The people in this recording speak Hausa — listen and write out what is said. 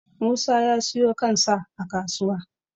musa ya siyo kan sa a kasuwa